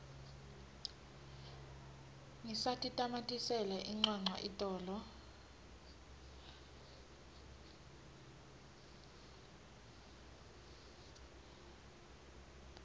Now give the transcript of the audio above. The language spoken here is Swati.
ngisatitamatisela incwancwa itolo